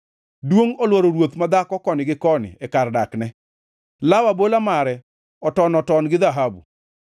Duongʼ olworo ruoth madhako koni gi koni e kar dakne; law abola mare oton-oton gi dhahabu.